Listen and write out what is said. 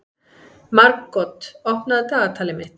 Margot, opnaðu dagatalið mitt.